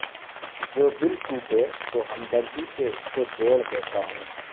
جودل ٹوٹے تو ہمدردی سے اس کوجوڑ دیتا ہوں